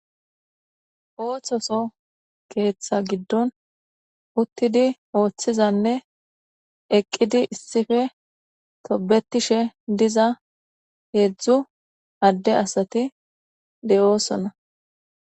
Othtoso keeththa giddoni uttidi oththizanne eqidi issippe tobetishe diza hezdzdu ade asati deosoona